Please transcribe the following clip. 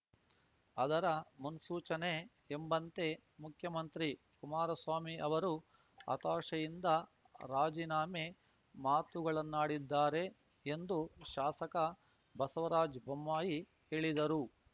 ಅದರ ಮುನ್ಸೂಚನೆ ಎಂಬಂತೆ ಮುಖ್ಯಮಂತ್ರಿ ಕುಮಾರಸ್ವಾಮಿ ಅವರು ಹತಾಶೆಯಿಂದ ರಾಜೀನಾಮೆ ಮಾತುಗಳನ್ನಾಡಿದ್ದಾರೆ ಎಂದು ಶಾಸಕ ಬಸವರಾಜ್ ಬೊಮ್ಮಾಯಿ ಹೇಳಿದರು